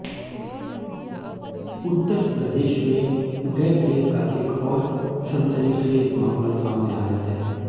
उत्तर प्रदेश में गैंगरेप का एक और सनसनीखेज मामला सामने आया है